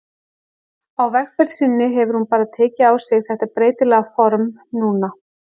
Á vegferð sinni hefur hún bara tekið á sig þetta breytilega form núna.